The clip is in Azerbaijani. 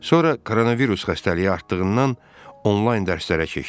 Sonra koronavirus xəstəliyi artdığından online dərslərə keçdik.